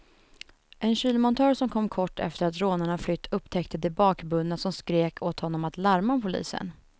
En kylmontör som kom kort efter att rånarna flytt upptäckte de bakbundna som skrek åt honom att larma polisen.